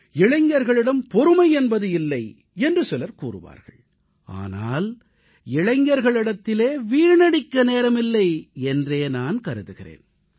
இளைஞர்களிடம் பொறுமை என்பது இல்லை என்று சிலர் கூறுவார்கள் ஆனால் இளைஞர்களிடத்திலே வீணடிக்க நேரமில்லை என்றே நான் கருதுகிறேன்